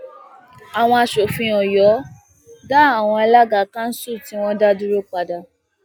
àwọn aṣòfin ọyọ dá àwọn alága kanṣu tí wọn dá dúró padà